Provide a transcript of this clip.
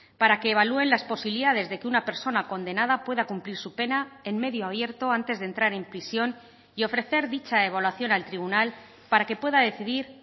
para que evalúen las posibilidades de que una persona condenada pueda cumplir su pena en medio abierto antes de entrar en prisión y ofrecer dicha evaluación al tribunal para que pueda decidir